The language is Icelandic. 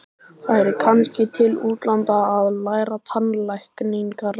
Færi kannski til útlanda að læra tannlækningar.